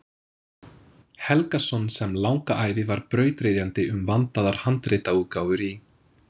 Helgason sem langa ævi var brautryðjandi um vandaðar handritaútgáfur í